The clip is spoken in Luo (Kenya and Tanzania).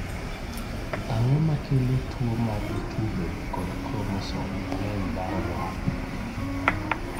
Ang'o makelo tuwo ma dichwo bedo kod kromosom mang'eny mar Y?